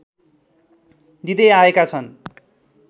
दिँदै आएका छन्